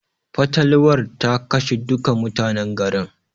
Fatalwar ta kashe duka mutanen garin.